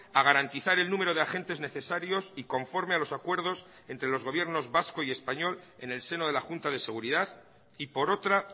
a garantizar el número de agentes necesarios y conforme a los acuerdos entre los gobiernos vasco y español en el seno de la junta de seguridad y por otra